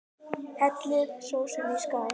Hellið sósunni í skál.